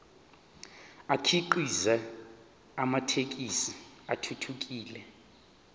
akhiqize amathekisthi athuthukile